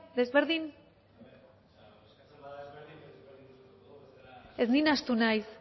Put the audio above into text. desberdin ez ni nahastu naiz